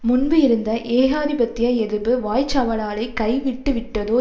முன்பு இருந்த ஏகாதிபத்திய எதிர்ப்பு வாய்ச்சவடாலை கைவிட்டுவிட்டதோ